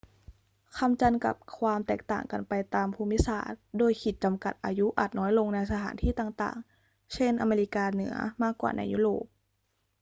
คำจำกัดความแตกต่างกันไปตามภูมิศาสตร์ โดยขีดจำกัดอายุอาจน้อยลงในสถานที่ต่าง ๆ เช่น อเมริกาเหนือ มากกว่าในยุโรป